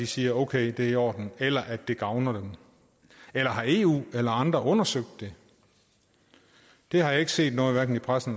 siger okay det er i orden eller at det gavner den eller har eu eller andre undersøgt det det har jeg ikke set noget om hverken i pressen